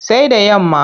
Sai da yamma.